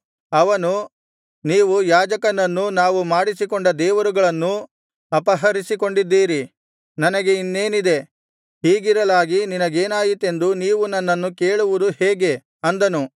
ಅವನು ನೀವು ಯಾಜಕನನ್ನೂ ನಾವು ಮಾಡಿಸಿಕೊಂಡ ದೇವರುಗಳನ್ನೂ ಅಪಹರಿಸಿಕೊಂಡಿದ್ದೀರಿ ನನಗೆ ಇನ್ನೇನಿದೆ ಹೀಗಿರಲಾಗಿ ನಿನಗೇನಾಯಿತೆಂದು ನೀವು ನನ್ನನ್ನು ಕೇಳುವುದು ಹೇಗೆ ಅಂದನು